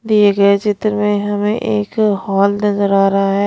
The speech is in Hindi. दिए गए चित्र में हमें एक हॉल नजर आ रहा है।